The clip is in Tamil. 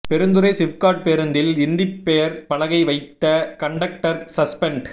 பெருந்துறை சிப்காட் பேருந்தில் இந்தி பெயர் பலகை வைத்த கண்டக்டர் சஸ்பென்ட்